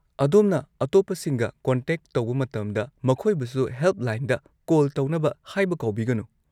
ꯑꯗꯣꯝꯅ ꯑꯇꯣꯞꯄꯁꯤꯡꯒ ꯀꯣꯟꯇꯦꯛ ꯇꯧꯕ ꯃꯇꯝꯗ, ꯃꯈꯣꯏꯕꯨꯁꯨ ꯍꯦꯜꯞꯂꯥꯏꯟꯗ ꯀꯣꯜ ꯇꯧꯅꯕ ꯍꯥꯏꯕ ꯀꯥꯎꯕꯤꯒꯅꯨ꯫